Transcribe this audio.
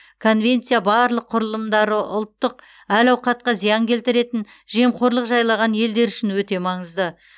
конвенция барлық құрылымдары ұлттық әл ауқатқа зиян келтіретін жемқорлық жайлаған елдер үшін өте маңызды